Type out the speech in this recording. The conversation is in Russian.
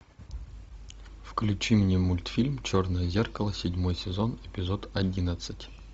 включи мне мультфильм черное зеркало седьмой сезон эпизод одиннадцать